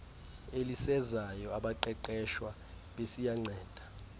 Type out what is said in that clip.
elisezayo abaqeqeshwa besiyanceda